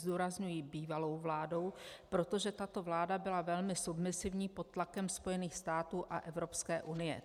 Zdůrazňuji bývalou vládou, protože tato vláda byla velmi submisivní pod tlakem Spojených států a Evropské unie.